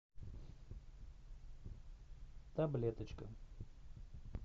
таблеточка